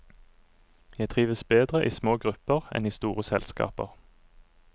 Jeg trives bedre i små grupper enn i store selskaper.